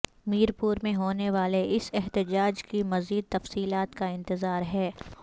میر پور میں ہونے والے اس احتجاج کی مزید تفصیلات کا انتظار ہے